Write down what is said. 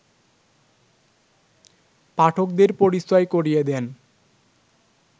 পাঠকদের পরিচয় করিয়ে দেন